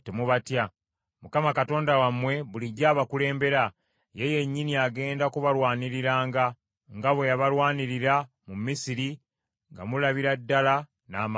Mukama Katonda wammwe bulijjo abakulembera, ye yennyini agenda kubalwaniriranga, nga bwe yabalwanirira mu Misiri nga mulabira ddala n’amaaso gammwe.